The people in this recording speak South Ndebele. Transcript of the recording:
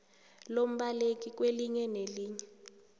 lombaleki kwelinye nelinye